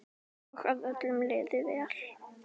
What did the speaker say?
Og að öllum liði vel.